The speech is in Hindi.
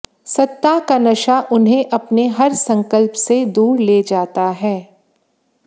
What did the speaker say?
सत्ता का नशा उन्हें अपने हर संकल्प से दूर ले जाता है